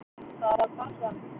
Það var barnsvani.